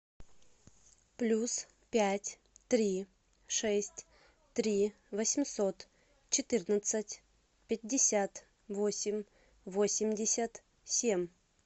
плюс пять три шесть три восемьсот четырнадцать пятьдесят восемь восемьдесят семь